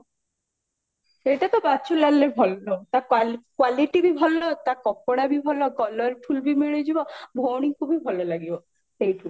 ସେଇଟା ତ ବାଚୁଲାଲରେ ଭଲ ତା qualityବି ଭଲ ତା କପଡା ବି ଭଲ colorfulବି ମିଳିଯିବ ଭଉଣୀଙ୍କୁ ବି ଭଲ ଲାଗିବ ସେଇଠୁ